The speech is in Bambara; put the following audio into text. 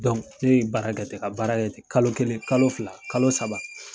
ne ye baara kɛ ten, ka baara ten, kalo kelen, kalo fila, kalo saba.